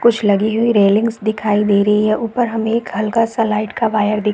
कुछ लगी हुई रैलिंग्स दिखाई दे रही है ऊपर हमें एक हल्का-सा लाइट का वायर दिख --